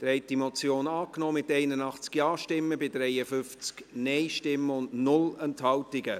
Sie haben die Motion angenommen, mit 81 Ja- gegen 53 Nein-Stimmen bei 0 Enthaltungen.